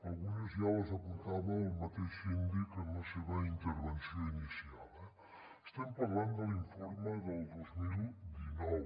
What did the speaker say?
algunes ja les apuntava el mateix síndic en la seva intervenció inicial eh estem parlant de l’informe del dos mil dinou